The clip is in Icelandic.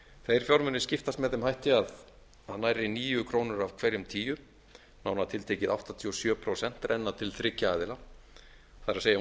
þeir fjármunir skiptast með þeim hætti að nærri níu krónur af hverjum tíu nánar tiltekið áttatíu og sjö prósent renna til þriggja aðila það er